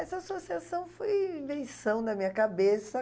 Essa associação foi invenção na minha cabeça.